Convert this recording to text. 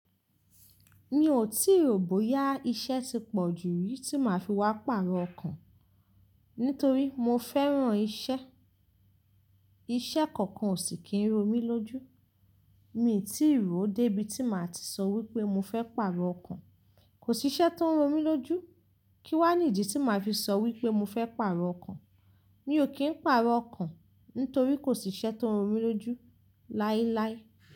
Mi ò tíì rò bóyá iṣẹ́ tí pọ̀jù rìí tí màá fi wá pàrọ̀ ọkàn, nítorí mo fẹ́ran iṣẹ́. Iṣẹ́ kankan ò sì kín ró mi lójú. Mi ò tíì rò dé ibi tí màá ti sọ wípé mọ fẹ́ pàrọ̀ ọkàn. Kò sí iṣẹ́ tó ń ró mi lójú, kí wá nídi tí màá fi sọ wípé mo fẹ́ pàrọ̀ ọkàn. Mi ò kí ń pàrọ̀ ọkàn, nítorí kò sí iṣẹ́ tó ń ró mi lójú láíláí.